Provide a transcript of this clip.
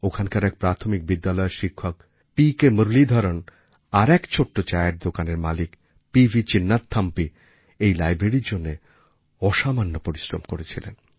ওখানকার এক প্রাথমিক বিদ্যালয়ের শিক্ষক পিকে মুরালিধরন আর এক ছোট্ট চায়ের দোকানের মালিক পিভি চিন্নাথাম্পি এই লাইব্রেরির জন্য অসামান্য পরিশ্রম করেছিলেন